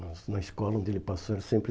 Na na escola onde ele passou era sempre